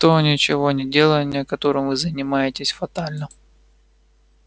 то ничегонеделание которым вы занимаетесь фатально